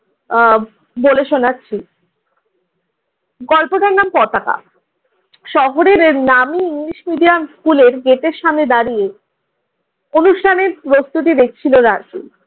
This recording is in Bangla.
আহ বলে শোনাচ্ছি। গল্পটার নাম পতাকা। শহরের নামি ইংলিশ মিডিয়াম স্কুলের গেটের সামনে দাঁড়িয়ে অনুষ্ঠানের প্রস্তুতি দেখছিল রাজু।